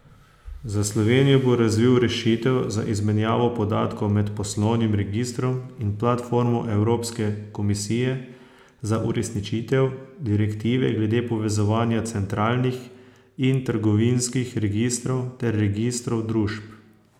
Za Slovenijo bo razvil rešitev za izmenjavo podatkov med poslovnim registrom in platformo Evropske komisije za uresničitev direktive glede povezovanja centralnih in trgovinskih registrov ter registrov družb.